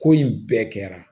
Ko in bɛɛ kɛra